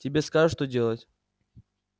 тебе скажут что делать